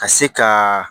Ka se ka